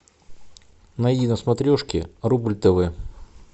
найди на смотрешке рубль тв